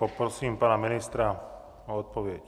Poprosím pana ministra o odpověď.